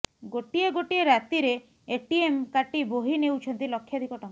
ଗୋଟିଏ ଗୋଟିଏ ରାତିରେ ଏଟିଏମ୍ କାଟି ବୋହି ନେଉଛନ୍ତି ଲକ୍ଷାଧିକ ଟଙ୍କା